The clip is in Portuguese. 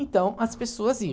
Então, as pessoas iam.